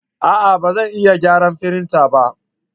A'a! Ba zan iya gyara firinta ba.